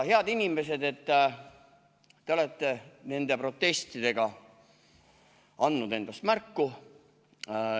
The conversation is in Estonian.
Head inimesed, te olete nende protestidega andnud endast märku.